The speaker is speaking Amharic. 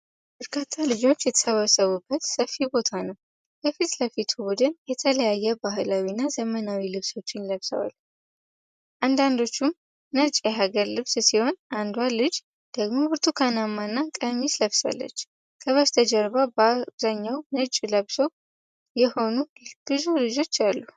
በርካታ ልጆች የተሰበሰቡበት ሰፊ ቦታ ነው። የፊት ለፊቱ ቡድን የተለያዩ ባህላዊና ዘመናዊ ልብሶችን ለብሰዋል፤ አንዳንዶቹም ነጭ የሀገር ልብስ ሲሆን፣ አንዷ ልጅ ደግሞ ብርቱካናማ ቀሚስ ለብሳለች። ከበስተጀርባ በአብዛኛው ነጭ ለበሱ የሆኑ ብዙ ልጆች አሉ።